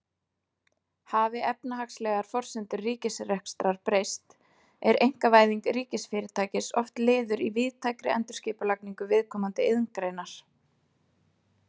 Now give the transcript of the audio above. Hafi efnahagslegar forsendur ríkisrekstrar breyst er einkavæðing ríkisfyrirtækis oft liður í víðtækri endurskipulagningu viðkomandi iðngreinar.